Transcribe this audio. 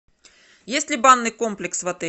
есть ли банный комплекс в отеле